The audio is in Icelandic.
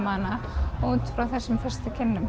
hana út frá þessum fyrstu kynnum